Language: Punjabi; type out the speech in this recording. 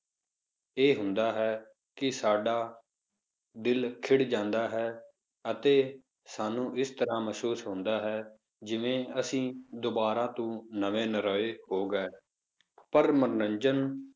ਇਹ ਹੁੰਦਾ ਹੈ ਕਿ ਸਾਡਾ ਦਿਲ ਖਿੜ ਜਾਂਦਾ ਹੈ, ਅਤੇ ਸਾਨੂੰ ਇਸ ਤਰ੍ਹਾਂ ਮਹਿਸੂਸ ਹੁੰਦਾ ਹੈ, ਜਿਵੇਂ ਅਸੀਂ ਦੁਬਾਰਾ ਤੋਂ ਨਵੇਂ ਨਰੋਏ ਹੋ ਗਏ, ਪਰ ਮਨੋਰੰਜਨ